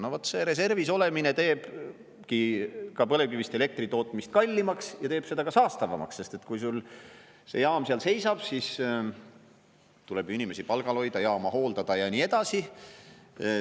No vaat see reservis olemine teebki põlevkivist elektri tootmist kallimaks ja teeb seda ka saastavamaks, sest kui sul see jaam seal seisab, siis tuleb ikkagi inimesi palgal hoida, jaama hooldada ja nii edasi.